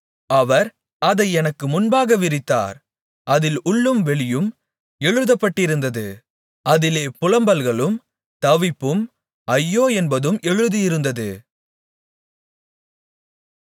அவர் அதை எனக்கு முன்பாக விரித்தார் அதில் உள்ளும் வெளியும் எழுதப்பட்டிருந்தது அதிலே புலம்பல்களும் தவிப்பும் ஐயோ என்பதும் எழுதியிருந்தது